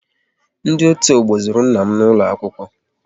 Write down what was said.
Ndị otu ọgbọ zuru nna m n'ụlọ akwụkwọ